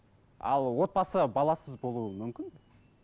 ал отбасы баласыз болуы мүмкін бе